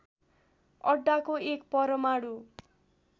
अड्डाको एक परमाणु